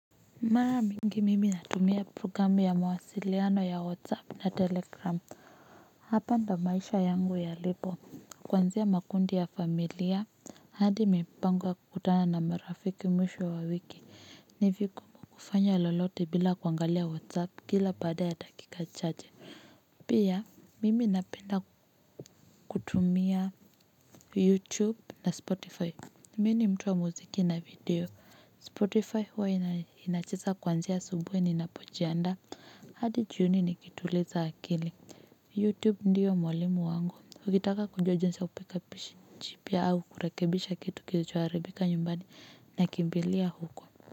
Mara mingi mimi natumia programu ya mawasiliano ya whatsapp na telegram hapa ndiyo maisha yangu yalipo kuanzia makundi ya familia hadi mipango ya kukutana na marafiki mwisho wa wiki ni vigumu kufanya lolote bila kuangalia whatsapp kila baada ya dakika chache pia mimi napenda kutumia youtube na spotify. Mimi ni mtu wa muziki na video, Spotify huwa inacheza kuanzia asubuhi ninapojiandaa hadi jioni nikituliza akili. Youtube ndiyo mwalimu wangu, ukitaka kujua jinsi ya kupika au kurekebisha kitu kilichoharibika nyumbani nakimbilia huko.